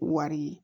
Wari ye